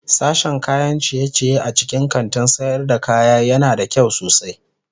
Sashen kayan ciye-ciye a cikin kantin sayar da kaya yana da kyau sosai.